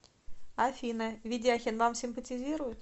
афина ведяхин вам симпатизирует